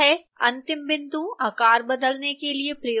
अंतिम बिंदु आकार बदलने के लिए प्रयोग किया जाता है